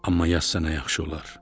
Amma yazsa nə yaxşı olar!